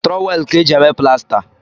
Trọwel kaa eji eme plasta